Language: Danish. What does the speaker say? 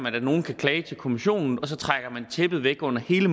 at nogen klager til europa kommissionen og så trækker man tæppet væk under hele